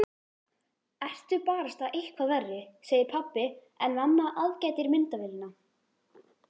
Ertu barasta eitthvað verri, segir pabbi en mamma aðgætir myndavélina.